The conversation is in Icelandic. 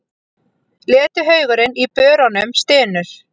Letihaugurinn í börunum stynur.